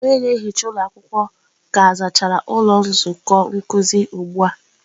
Onye na-ehicha ụlọ akwụkwọ ka zachara ụlọ nzukọ nkuzi ụgbụ a.